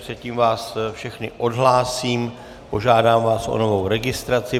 Předtím vás všechny odhlásím, požádám vás o novou registraci.